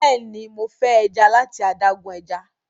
béèni Mo fe eja lati adágún ẹja.